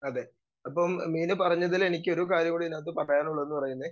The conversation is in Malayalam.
സ്പീക്കർ 2 അതെ മീനു പറഞ്ഞതിൽ എനിക്കൊരു കാര്യം കൂടി ഇതിനാത്ത് പറയാനുള്ളതെന്ന് പറയുന്നേ